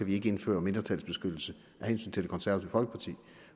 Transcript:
vi ikke indføre mindretalsbeskyttelse af hensyn til det konservative folkeparti